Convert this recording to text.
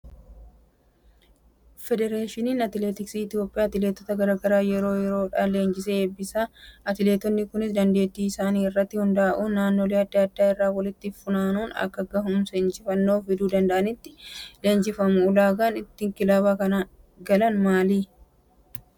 Federeeshiniin atileetiksii Itoophiyaa atileetota garaagaraa yeroo yeroodhaan laanjisee eebbisiisa. Atileetonni kunis dandeettii isaanii irratti hundaa'uun naannolee adda addaa irraa walitti funaanuun akka gahumsa injifannoo fiduu danda'anitti leenjifamu. Ulaagaan ittiin kilaba kana galan maali?